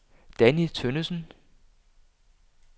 Danni Tønnesen